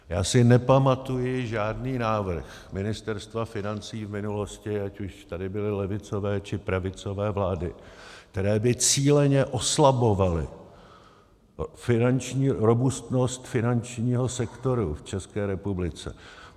Já si nepamatuji žádný návrh Ministerstva financí v minulosti, ať už tady byly levicové, či pravicové vlády, které by cíleně oslabovaly robustnost finančního sektoru v České republice.